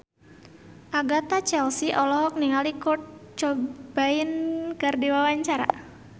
Agatha Chelsea olohok ningali Kurt Cobain keur diwawancara